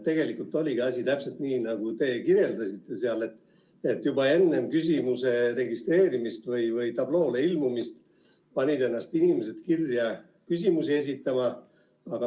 Tegelikult oligi asi täpselt nii, nagu teie kirjeldasite, et inimesed panid ennast kirja juba enne küsimuse tabloole ilmumist.